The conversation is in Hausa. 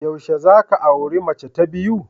Yaushe za ka auri mace ta biyu?